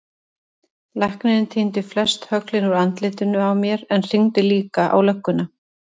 Læknirinn tíndi flest höglin úr andlitinu á mér en hringdi líka á lögguna.